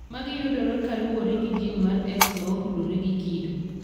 Magi iyudo ka kaluwore gi gin mar X ma otudore gi kido.